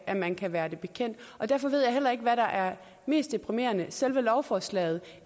at man kan være det bekendt og derfor ved jeg heller ikke hvad der er mest deprimerende selve lovforslaget